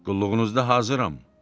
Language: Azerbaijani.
Qulluğunuzda hazıram.